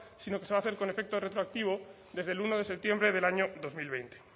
sino que se va a hacer con efecto retroactivo desde el uno de septiembre del año dos mil veinte